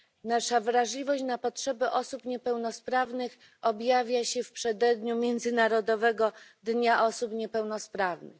Nasza wrażliwość na potrzeby osób niepełnosprawnych objawia się w przededniu Międzynarodowego Dnia Osób Niepełnosprawnych.